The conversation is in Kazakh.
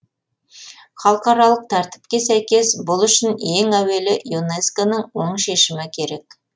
халықаралық тәртіпке сәйкес бұл үшін ең әуелі юнеско ның оң шешімі керек